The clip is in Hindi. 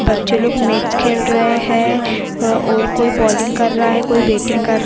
बच्चे लोग मैच खेल रहे हैं और कोई बॉलिंग कर रहा हैऔर कुछ लोग बैटिंग कर --